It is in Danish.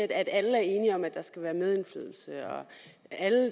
at alle er enige om at der skal være medindflydelse og at